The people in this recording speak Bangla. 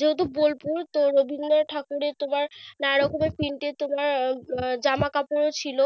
যেহেতু বোলপুর তার ওধিনে ঠাকুরের তোমার, নানারকমের printed তোমার আহ জামাকাপড় ও ছিল।